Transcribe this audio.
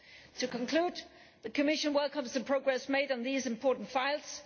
To conclude, the Commission welcomes the progress made on these important files.